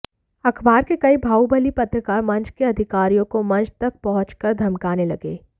अखबार के कई बाहुबली पत्रकार मंच के अधिकारियों को मंच तक पहुंच कर धमकाने लगे